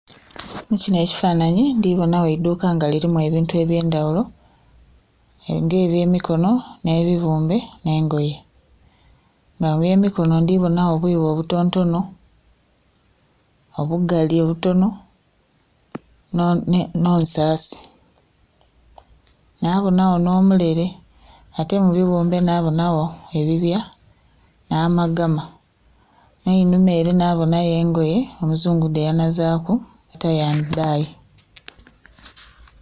Mu kinho ekifanhanhi ndhi bonagho eidhuka nga lilimu ebintu eby'endaghulo, nga eby'emikono n'ebibumbe nh'engoye, nga eby'emikono ndhi bonagho obwibo obutontono, obugali obutono, ne nsaasi, nabonagho n'omulele. Ate mu bighumbe na bonagho ebibya nh'amagama nh'einuma ele nabonhayo engoye omuzungu dheyanazaaku tie and dye.